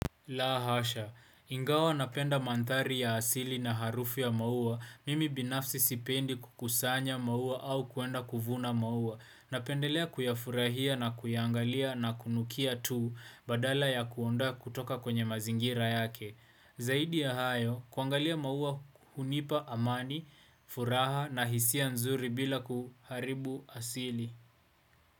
La hasha, ingawa napenda mandhari ya asili na harufu ya maua, mimi binafsi sipendi kukusanya maua au kuenda kuvuna maua, napendelea kuyafurahia na kuyangalia na kunukia tuu badala ya kuondoa kutoka kwenye mazingira yake. Zaidi ya hayo, kuangalia maua hunipa amani, furaha na hisia nzuri bila kuharibu asili.